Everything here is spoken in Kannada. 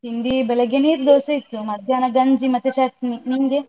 ತಿಂಡಿ ಬೆಳಿಗ್ಗೆ ನೀರ್ದೋಸೆ ಇತ್ತು, ಮಧ್ಯಾಹ್ನ ಗಂಜಿ ಮತ್ತೆ ಚಟ್ನಿ. ನಿಂಗೆ?